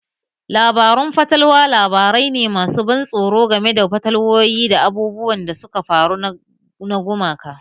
Labarun fatalwa labarai ne masu ban tsoro game da fatalwowi da abubuwan da suka faru na gumaka